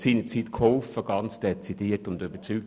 Sie haben seinerzeit geholfen, ganz dezidiert und überzeugt.